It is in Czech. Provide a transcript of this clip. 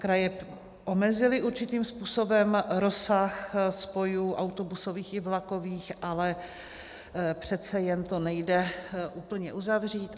Kraje omezily určitým způsobem rozsah spojů autobusových i vlakových, ale přece jen to nejde úplně uzavřít.